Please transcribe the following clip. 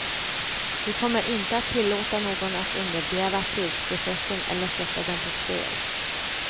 Vi kommer inte att tillåta någon att undergräva fredsprocessen eller sätta den på spel.